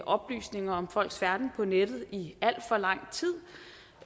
oplysninger om folks færden på nettet i alt for lang tid